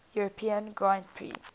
european grand prix